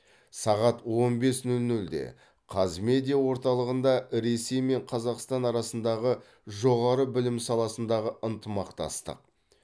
сағат он бес нөл нөлде қазмедиа орталығында ресей мен қазақстан арасындағы жоғары білім саласындағы ынтымақтастық